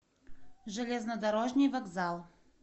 железнодорожный вокзал